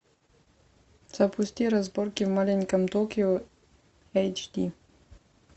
запусти разборки в маленьком токио эйч ди